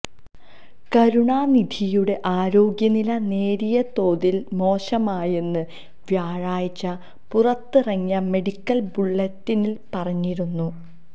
കരുണാനിധിയുടെ ആരോഗ്യനില നേരിയതോതില് മോശമായെന്ന് വ്യാഴാഴ്ച പുറത്തിറങ്ങിയ മെഡിക്കല് ബുള്ളറ്റിനില് പറഞ്ഞിരുന്നു